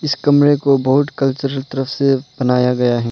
इस कमरे को बहुत कल्चरल तरफ से बनाया गया है।